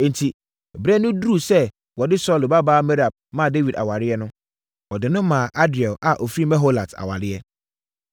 Enti, berɛ no duruu sɛ wɔde Saulo babaa Merab ma Dawid awadeɛ no, wɔde no maa Adriel a ɔfiri Meholat awadeɛ.